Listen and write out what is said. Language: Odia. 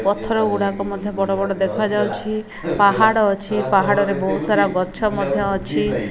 ପଥର ଗୁଡାକ ମଧ୍ଯ ବଡ ବଡ ଦେଖାଯାଉଛି ପାହାଡ ଅଛି ପାହାଡରେ ବୋହୁତ ସାରା ଗଛ ମଧ୍ଯ ଅଛି।